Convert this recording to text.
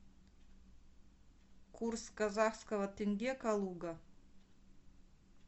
курс казахского тенге калуга